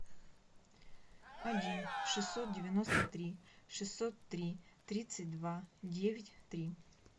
один шестьсот девяносто три шестьсот три тридцать два девять три